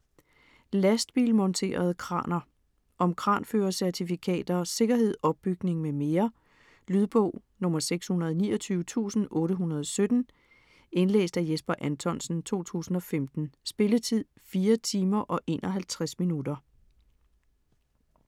Lastbilmonterede kraner Om kranførercertifikater, sikkerhed, opbygning med mere. Lydbog 629817 Indlæst af Jesper Anthonsen, 2015. Spilletid: 4 timer, 51 minutter.